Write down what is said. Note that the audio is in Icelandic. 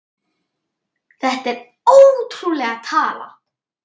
Þetta er ótrúleg tala.